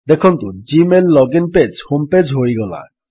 ଦେଖନ୍ତୁ Gmail login page home page ହୋଇଗଲା